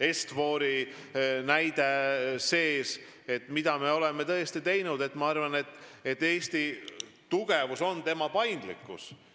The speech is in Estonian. Est-For Investi näide –, mida me oleme teinud, siis Eesti tugevus on tema paindlikkus.